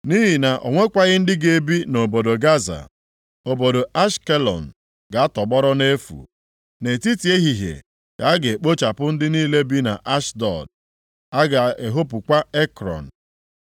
Nʼihi na o nwekwaghị ndị ga-ebi nʼobodo Gaza, obodo Ashkelọn ga-atọgbọrọ nʼefu. Nʼetiti ehihie ka a ga-ekpochapụ ndị niile bi nʼAshdọd; a ga-ehopukwa Ekrọn.